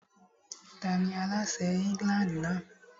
Tani aláṣẹ England náà?